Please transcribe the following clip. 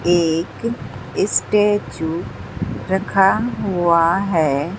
एक स्टैचू रखा हुआ है।